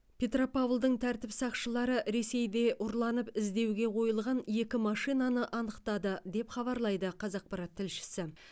петропавлдың тәртіп сақшылары ресейде ұрланып іздеуге қойылған екі машинаны анықтады деп хабарлайды қазақпарат тілшісі